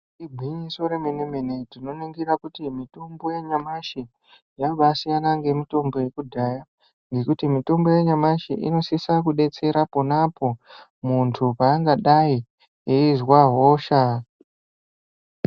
Igwinyiso remene-mene, tinoningira kuti mitombo yenyamashi yambasiyana ngemitombo yekudhaya ngekuti mitombo yanyamashi inosisa kudetsera ponapo muntu paangadai eizwa hosha.